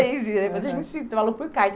Mas a gente se falou por carta.